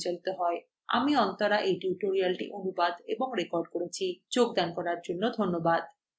আমি অন্তরা এই টিউটোরিয়ালটি অনুবাদ এবং রেকর্ড করেছি যোগদান করার জন্য আপনাকে ধন্যবাদ